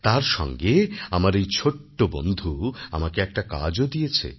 তার সঙ্গে আমার এই ছোট্ট বন্ধু আমাকে একটা কাজও দিয়েছে